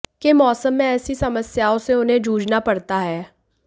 के मौसम में ऐसी समस्याओं से उन्हें जूझना पड़ता है